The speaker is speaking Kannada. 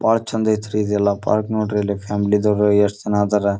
ಬಾಳ ಚಂದ ಐತ್ರಿ ಇದೆಲ್ಲ ಪಾರ್ಕ್ ನೋಡ್ರಿ ಇಲ್ಲಿ ಫ್ಯಾಮಿಲಿ ಅದಾವ ಎಷ್ಟು ಜನರಿದ್ದಾರೆ.